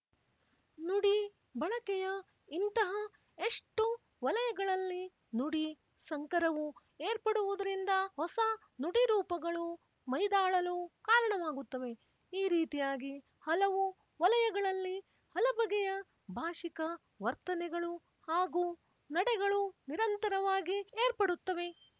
ನುಡಿ ಬಳಕೆಯ ಇಂತಹ ಎಷ್ಟು ವಲಯಗಳಲ್ಲಿ ನುಡಿ ಸಂಕರವು ಏರ್ಪಡುವುದರಿಂದ ಹೊಸ ನುಡಿರೂಪಗಳು ಮೈದಾಳಲು ಕಾರಣವಾಗುತ್ತವೆ ಈ ರೀತಿಯಾಗಿ ಹಲವು ವಲಯಗಳಲ್ಲಿ ಹಲಬಗೆಯ ಭಾಶಿಕ ವರ್ತನೆಗಳು ಹಾಗೂ ನಡೆಗಳು ನಿರಂತರವಾಗಿ ಏರ್ಪಡುತ್ತವೆ